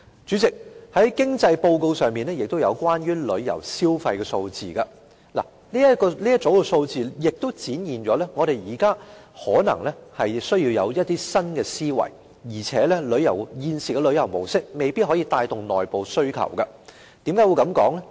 主席，經濟報告中也有關於旅遊消費的數字。這一組數字也顯示我們現在可能需要提出一些新思維，而且現時的旅遊模式未必能夠帶動內部需求，為何我這樣說呢？